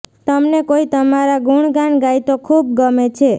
તમને કોઇ તમારા ગુણગાન ગાય તો ખુબ ગમે છે